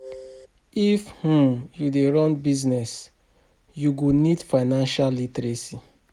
If um you dey run business, you go need financial literacy.